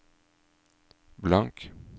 blank